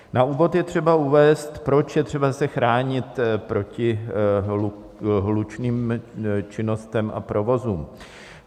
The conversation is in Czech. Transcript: Na úvod je třeba uvést, proč je třeba se chránit proti hlučným činnostem a provozům.